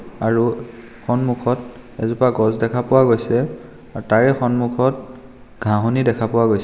আৰু সন্মুখত এজোপা গছ দেখা পোৱা গৈছে আৰু তাৰে সন্মুখত ঘাঁহনি দেখা পোৱা গৈছে.